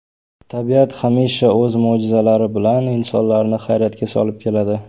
Tabiat hamisha o‘z mo‘jizalari bilan insonlarni hayratga solib keladi.